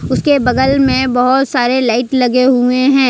उसके बगल में बहुत सारे लाइट लगे हुए हैं।